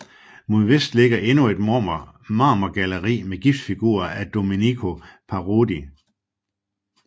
Mod vest ligger endnu et marmorgalleri med gipsfigurer af Domenico Parodi